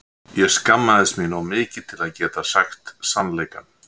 Ég skammaðist mín of mikið til að geta sagt sannleikann.